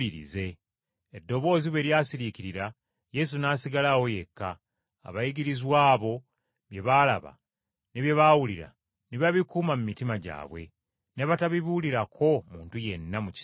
Eddoboozi bwe lyasiriikirira, Yesu n’asigalawo yekka. Abayigirizwa abo bye baalaba ne bye baawulira ne babikuuma mu mitima gyabwe, ne batabibuulirako muntu yenna mu kiseera ekyo.